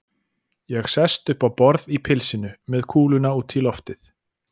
Ég sest upp á borð í pilsinu, með kúluna út í loftið.